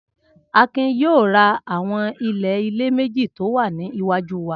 Akin yóò ra àwọn ilé-ilẹ̀ méjì tó wà ní iwájú wa.